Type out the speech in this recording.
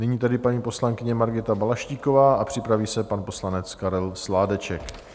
Nyní tedy paní poslankyně Margita Balaštíková a připraví se pan poslanec Karel Sládeček.